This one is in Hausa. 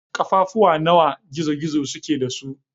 Kafafu nawa gizo-gizo suke da su?